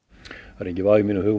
það er enginn vafi í mínum huga